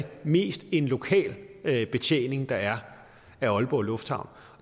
mest en lokal betjening der er af aalborg lufthavn